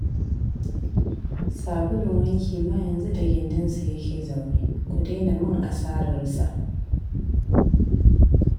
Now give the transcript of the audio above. Sabulun wanki ma yanzu da gindinsa yake zaune, ku daina min asararsa